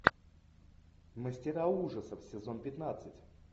мастера ужасов сезон пятнадцать